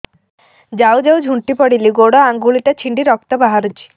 ଯାଉ ଯାଉ ଝୁଣ୍ଟି ପଡ଼ିଲି ଗୋଡ଼ ଆଂଗୁଳିଟା ଛିଣ୍ଡି ରକ୍ତ ବାହାରୁଚି